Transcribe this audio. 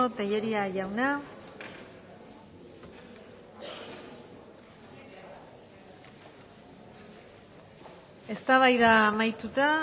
tellería jauna eztabaida amaituta